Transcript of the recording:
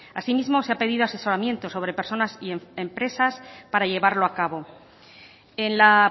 asimismo se ha pedido asesoramiento sobre personas y empresas para llevarlo a cabo en la